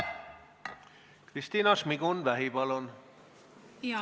Kristina Šmigun-Vähi, palun!